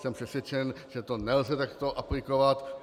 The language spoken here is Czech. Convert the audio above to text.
Jsem přesvědčen, že to nelze takto aplikovat.